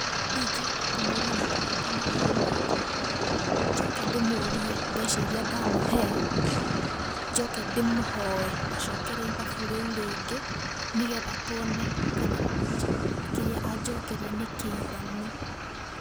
Ingĩamba kũmũria mũtu wa ngano ũrauma atia, njoke ndĩmũrie mbeca iria ndamũhe njoke ndĩmũhoe acokere ithabu rĩũ rĩngĩ nĩgetha tuone kana kĩrĩa anjokeria nĩ kĩiganu.